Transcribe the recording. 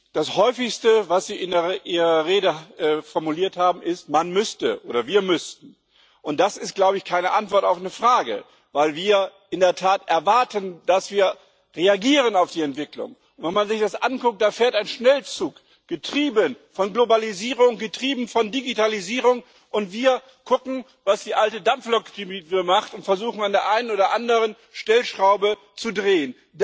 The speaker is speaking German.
Das häufigste, was Sie in Ihrer Rede formuliert haben, ist man müsste oder wir müssten, und das ist keine Antwort auf eine Frage weil wir in der Tat erwarten, dass wir auf die Entwicklung reagieren. Wenn man sich das anguckt Da fährt ein Schnellzug, getrieben von Globalisierung, getrieben von Digitalisierung, und wir gucken, was die alte Dampflok macht, und versuchen, an der einen oder anderen Stellschraube zu drehen.